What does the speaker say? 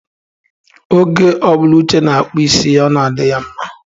Oge ọ bụla Uche na-akpụ isi ya, ọ na-adị ya mma.